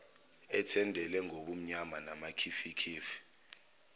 ethendele ngobumnyama namakhifikhifi